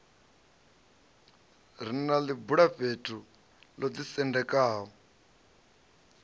re na ḽibulafhethu ḽo ḓisendekaho